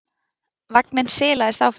Vagninn silaðist áfram.